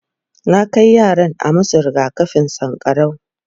na Kai yaran a masu rigakafin sankarau